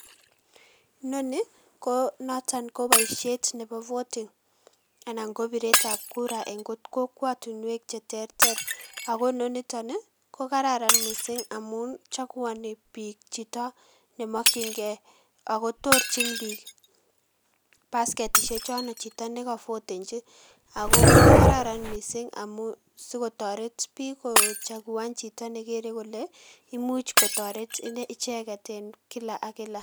Inonii ko noton ko boishet nebo voting anan ko biretab kura en kokwotinwek cheterter, ak ko inoniton ko kararan mising amuun chakuani biik chito nemokying'e, ak ko torchin biik basketishe chono chito neko votenchi , ak ko kararan mising amuun sikotoret biik ko chakuan nekere kole imuch kotoret icheket en kilak ak kilak.